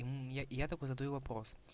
я я только задаю вопрос